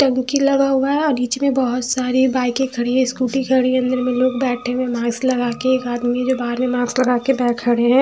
टंकी लगा हुआ है और बीच में बहोत सारी बाइके खड़ी है स्कूटी खड़ी है अंदर में लोग बेठे हुए है मास्क लगा के एक आदमी जो बहर में मास्क लगा के बाहर खडे है।